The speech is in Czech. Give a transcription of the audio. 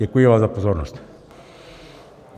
Děkuji vám za pozornost.